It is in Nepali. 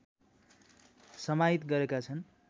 समाहित गरेका छन्